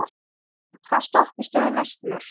Bekan, hvaða stoppistöð er næst mér?